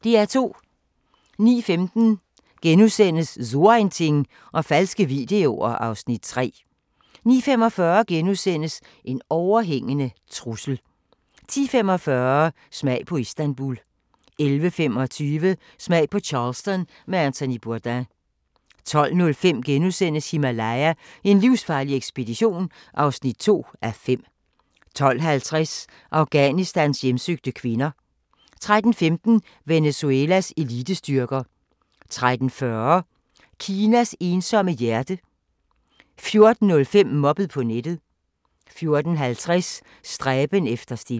09:15: So ein Ding og falske videoer (Afs. 3)* 09:45: En overhængende trussel * 10:45: Smag på Istanbul 11:25: Smag på Charleston med Anthony Bourdain 12:05: Himalaya: En livsfarlig ekspedition (2:5)* 12:50: Afghanistans hjemsøgte kvinder 13:15: Venezuelas elitestyrker 13:40: Kinas ensomme hjerter 14:05: Mobbet på nettet 14:50: Stræben efter stilhed